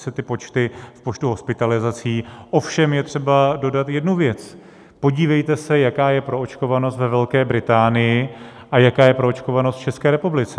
se ty počty v počtu hospitalizací, ovšem je třeba dodat jednu věc - podívejte se, jaká je proočkovanost ve Velké Británii a jaká je proočkovanost v České republice.